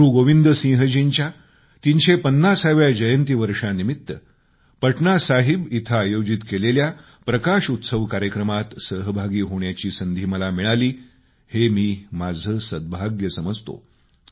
गुरूगोविंद सिंहजींच्या 350 व्या जयंती वर्षानिमित्त पटनासाहिब इथं आयोजित केलेल्या प्रकाश उत्सव कार्यक्रमामध्ये सहभागी होण्याची संधी मला मिळाली हे मी माझं भाग्य मानतो